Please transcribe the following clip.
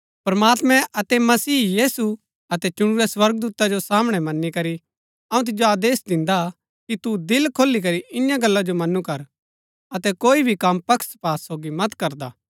प्रमात्मां अतै मसीह यीशु अतै चुणुरै स्वर्गदूता जो सामणै मनी करी अऊँ तिजो आदेश दिन्दा कि तू दिल खोली करी ईयां गल्ला जो मनू कर अतै कोई भी कम पक्षपात सोगी मत करदा